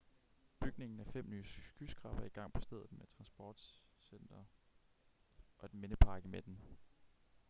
bygningen af fem nye skyskrabere er i gang på stedet med et transportcenter og en mindepark i midten